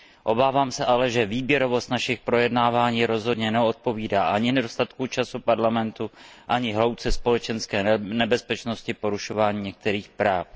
Obávám se ale, že náš výběr projednávaných témat rozhodně neodpovídá ani nedostatku času Parlamentu, ani hloubce společenské nebezpečnosti porušování některých práv.